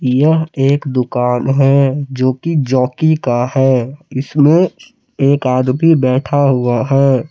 यह एक दुकान है जो की जॉकी का है इसमें एक आदमी बैठा हुआ है।